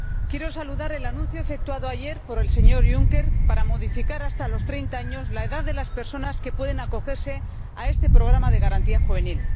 Señor Presidente, quiero saludar el anuncio efectuado ayer por el señor Juncker para modificar hasta los treinta años la edad límite de las personas que pueden acogerse a este programa de Garantía Juvenil.